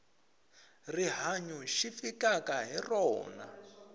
rihanyu xi fikaka hi rona